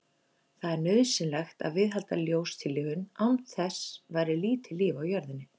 Það er nauðsynlegt að viðhalda ljóstillífun, án þess væri lítið líf á jörðinni.